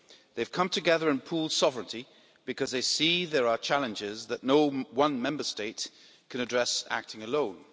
They have come together and pooled sovereignty because they see there are challenges that no one Member State can address acting alone.